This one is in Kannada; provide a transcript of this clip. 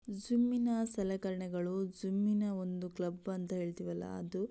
ಜಿಮ್ ನ ಸೆಲೆಕರಣೆಗಳು ಜಿಮ್ ನ ಒಂದು ಕ್ಲಬ್ ಅಂತ ಹೇಳ್ತೀವಳ ಅದು --